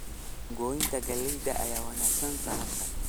Goynta galleyda ayaa wanaagsan sanadkan.